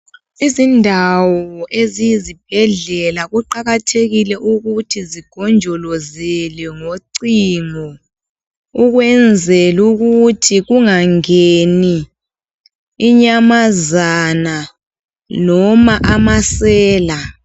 Izindawo eziyizibhedlela kuqakathekile ukuthi zigonjolozelwe ngocingo. Ukwenzela ukuthi kungangeni inyamazana, loba amasela.